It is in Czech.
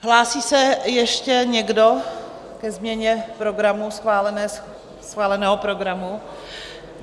Hlásí se ještě někdo ke změně programu, schváleného programu?